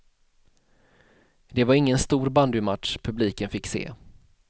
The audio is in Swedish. Det var ingen stor bandymatch publiken fick se.